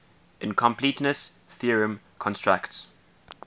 incompleteness theorem constructs